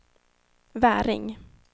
Väring